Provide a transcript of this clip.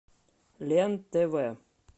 лен тв